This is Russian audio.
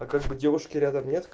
а как бы девушки рядом нет